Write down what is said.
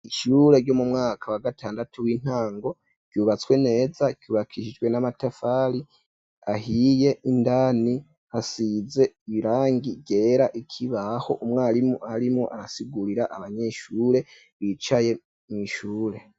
ishure ryo mu mwaka wa gatandatu w'intango ryubatswe neza ryubakishijwe n'amatafari ahiye indani hasize irangi ryera ikibaho umwarimu arimo arasigurira abanyeshure bicaye mw,ishure